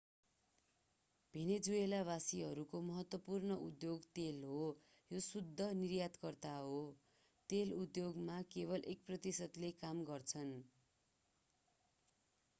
भेनेजुएलावासीहरूको महत्त्वपूर्ण उद्योग तेल हो। यो देश शुद्ध निर्यातकर्ता हो। तेल उद्योगमा केवल एक प्रतिशतले काम गर्छन्‌।